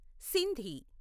Sindhi